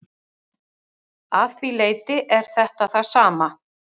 Að því leyti er þetta það sama.